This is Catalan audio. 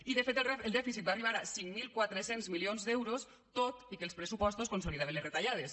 i de fet el dèficit va arribar a cinc mil quatre cents milions d’euros tot i que els pressupostos consolidaven les retallades